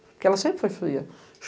Porque ela sempre foi fria.